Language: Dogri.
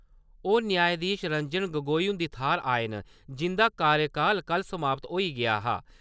ओह् न्यायधीश रंजन गोगोई हुंदी थाह्‌र आए न जिंदा कार्यकाल कल समाप्त होई गेआ हा।